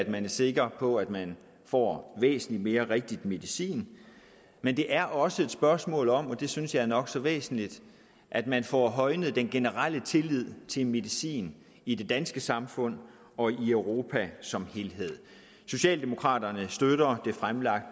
man er sikker på at man får væsentlig mere rigtig medicin men det er også et spørgsmål om og det synes jeg er nok så væsentligt at man får højnet den generelle tillid til medicin i det danske samfund og i europa som helhed socialdemokraterne støtter